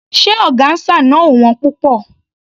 Ṣé ọgáńsà náà ò wón púpọ̀?